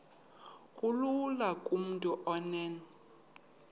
kulula kumntu onen